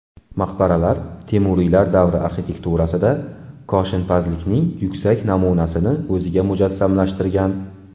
Maqbaralar Temuriylar davri arxitekturasida koshinpazlikning yuksak namunasini o‘zida mujassamlashtirgan.